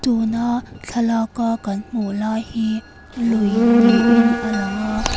tuna thlalak a kan hmuh lai hi lui niin alang a.